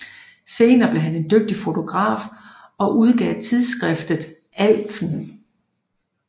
Senere blev han en dygtig fotograf og udgav tidsskriftet Alfen